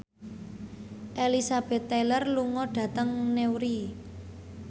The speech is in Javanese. Elizabeth Taylor lunga dhateng Newry